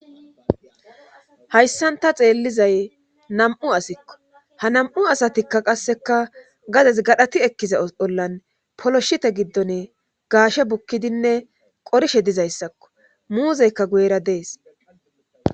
hayssanta xeellizay nam7u asikko ha namu asatikka qasseka gades gadhati ekkiza bhollan poloshite giddon gaashe bukkidinne qorishe dizayssakko muuzeyka guyera dees